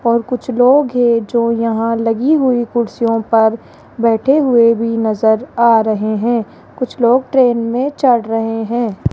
और कुछ लोग ये जो यहां लगी हुई कुर्सियों पर बैठे हुए भी नजर आ रहे हैं और कुछ लोग ट्रेन में चढ़ रहे हैं।